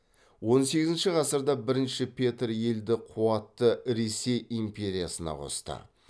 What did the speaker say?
он сегізінші ғасырда бірінші петр елді қуатты ресей империясына қосты